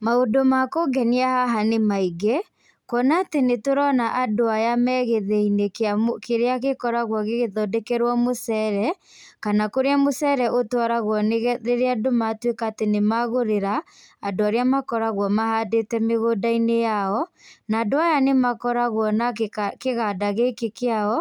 Maũndũ ma kũngenia haha nĩ maingĩ, kuona atĩ nĩ tũrona andũ aya me gĩthĩi-inĩ gĩa, kĩrĩa gĩkoragwo gĩgĩthondekerwo mũcere, kana kũrĩa mũcere ũtwaragwo rĩrĩa andũ matuĩka atĩ nĩ magũrĩra andũ arĩa makoragwo mahandĩte mĩgũnda-inĩ yao, na andũ aya nĩ makoragwo na kĩganda gĩkĩ kĩao,